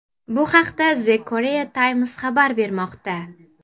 Bu haqda The Korea Times xabar bermoqda .